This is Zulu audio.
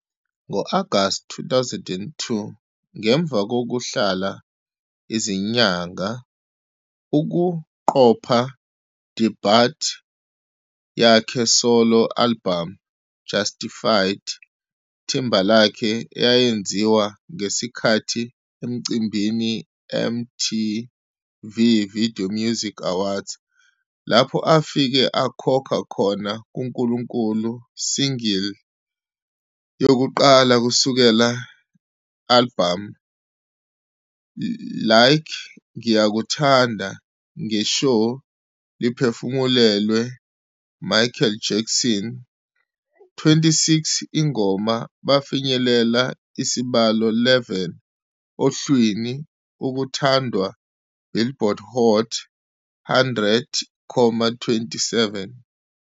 Ngo-August 2002, ngemva kokuhlala izinyanga ukuqopha DEBUT yakhe solo album, Justified, Timberlake eyayenziwa ngesikhathi Emcimbini MTV Video Music Awards, lapho afike akhokha khona kuNkulunkulu single yokuqala kusukela albhamu, "Like ngiyakuthanda" nge show liphefumulelwe Michael Jackson.26 ingoma bafinyelela isibalo 11 ohlwini ukuthandwa Billboard Hot 100,27